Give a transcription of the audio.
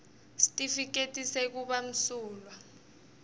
sitifiketi sekuba msulwa